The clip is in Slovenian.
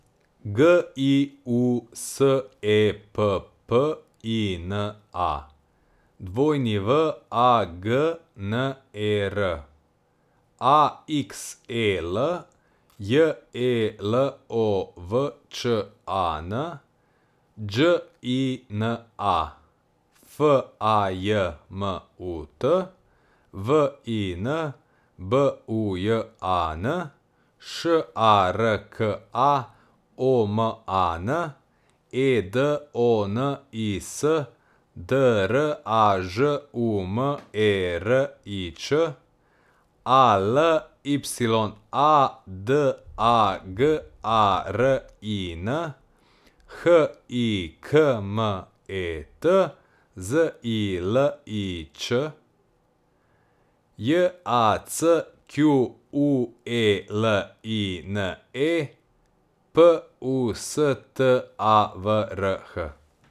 G I U S E P P I N A, W A G N E R; A X E L, J E L O V Č A N; Đ I N A, F A J M U T; V I N, B U J A N; Š A R K A, O M A N; E D O N I S, D R A Ž U M E R I Č; A L Y A, D A G A R I N; H I K M E T, Z I L I Ć; J A C Q U E L I N E, P U S T A V R H.